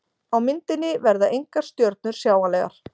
Á myndinni verða engar stjörnur sjáanlegar.